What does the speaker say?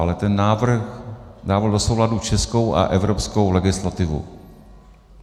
Ale ten návrh dával do souladu českou a evropskou legislativu.